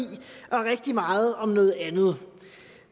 og rigtig meget om noget andet